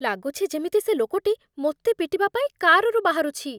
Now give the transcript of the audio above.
ଲାଗୁଛି ଯେମିତି ସେ ଲୋକଟି ମୋତେ ପିଟିବା ପାଇଁ କାର୍‌ରୁ ବାହାରୁଛି।